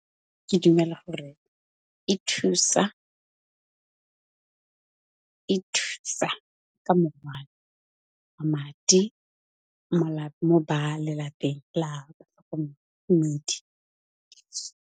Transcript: Ke dumela gore, e thusa ka morwalo madi mo ba lelapeng la batlhokomedi.